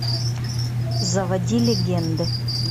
заводи легенды